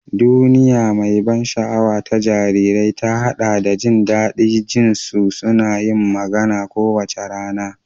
Duniya mai ban sha'awa ta jarirai ta haɗa da jin daɗin jin su suna yin magana kowace rana.